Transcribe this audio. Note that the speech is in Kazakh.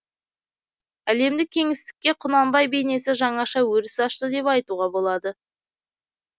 әлемдік кеңістікке құнанбай бейнесі жаңаша өріс ашты деп айтуға болады